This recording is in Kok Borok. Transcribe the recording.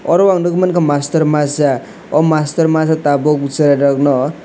oro o ang nogoimangka mastor masa o mastor tabok cherai rok no.